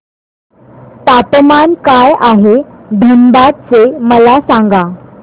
तापमान काय आहे धनबाद चे मला सांगा